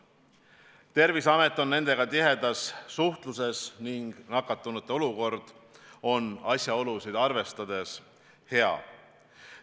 Terviseamet on nendega tihedas suhtluses ning nakatunute seisukord on asjaolusid arvestades hea.